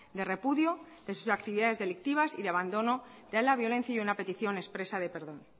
de repudio de sus actividades delictivas y de abandono de la violencia y una petición expresa de perdón